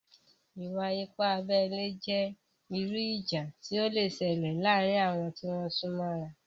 Ìwà-ipá abẹ́lé jẹ́ irú ìjà tí ó le sẹlẹ̀ láàrin àwon tí wón súnmọ́ra